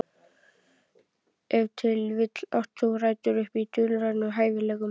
Ef til vill átti það rætur í dulrænum hæfileikum.